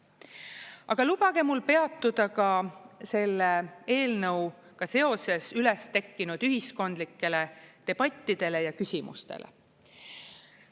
Aga lubage mul peatuda ka selle eelnõuga seoses üles tekkinud ühiskondlikel debattidel ja küsimustel.